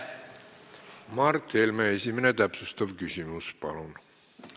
Mart Helme, esimene täpsustav küsimus, palun!